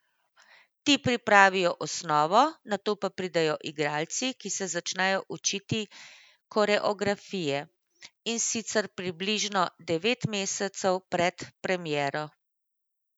Ti pripravijo osnovo, nato pa pridejo igralci, ki se začnejo učiti koreografije, in sicer približno devet mesecev pred premiero.